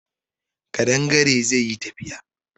Ƙadangare zai yi tafiya